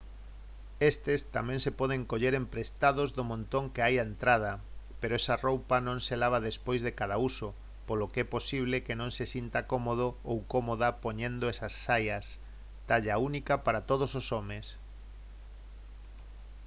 estes tamén se poden coller emprestados do montón que hai á entrada pero esa roupa non se lava despois de cada uso polo que é posible que non se sinta cómodo ou cómoda poñendo esas saias talla única para todos os homes